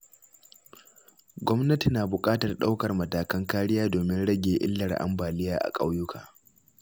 Gwamnati na buƙatar ɗaukar matakan kariya domin rage illar ambaliya a ƙauyuka.